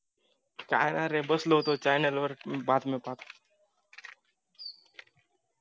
काही नाही रे बसलो होतो CHANNEL वर बातम्या पाहत